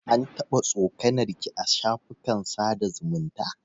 An taɓa tsokanar ki a shafukan sada zumunta?